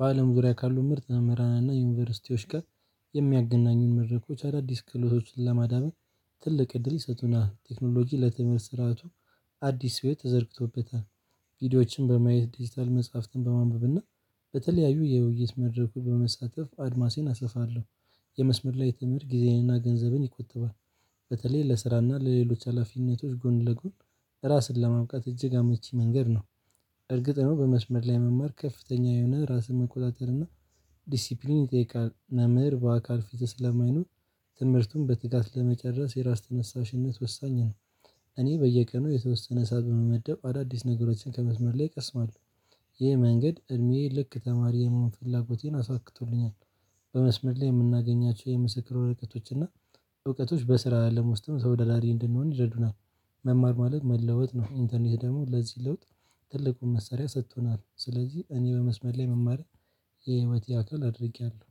በአለም ዙሪያ ካሉ ምርጥ መምህራን እና ዩኒቨርሲቲዎች ጋር የሚያገናኙን መድረኮች አዳዲስ ክህሎቶችን ለማዳበር ትልቅ እድል ይሰጡና ቴክኖሎጂ ለትምህርት ስርዓቱ አዲስ ህይወት ተዘርግቶበታል። ቪዲዮዎችን በማየት ዲጂታል መጽሐፍትን በማንበብና በተለያዩ የውይይት መድረኮች በመሳተፍ አድማሴን አሰፋለሁ። የመስመር ላይ ትምህርት ጊዜንና ገንዘብን ይቆጥባል። በተለይ ለስራና ለሌሎች ሀላፊነቶች ጎን ለጎን ራስን ለማብቃት እጅግ አመቺ መንገድ ነው። እርግጥ ነው በመስመር ላይ መማር ከፍተኛ የሆነ ራስን መቆጣጠር እና ዲሲፕሊን ይጠይቃል። መምህር በአካል ፊት ስለማይኖር ትምህርቱን በትጋት ለመጨረስ የራስ ተነሳሽነት ወሳኝ ነው። እኔ በየቀኑ የተወሰነ ሰዓት በመመደብ አዳዲስ ነገሮችን ከመስመር ላይ እቀስማለሁ። ይሄ መንገድ እድሜዬን ልክ ተማሪ የመሆን ፍላጎቴን አሳክቶልኛል። በመስመር ላይ የምናገኛቸው የምስክር ወረቀቶች እና እውቀቶች በስራ አለም ውስጥም ተወደራሪ እንድንሆን ይረዱናል። መማር ማለት መለወጥ ነው ኢንተርኔት ደግሞ ለዚህ ለውጥ ትልቁን መሳሪያ ሰጥቶናል። ስለዚህ እኔ በመስመር ላይ መማሬ የህይወቴ አካል አድርጌያለሁ።